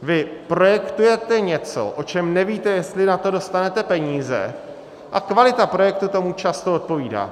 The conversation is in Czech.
Vy projektujete něco, o čem nevíte, jestli na to dostanete peníze, a kvalita projektu tomu často odpovídá.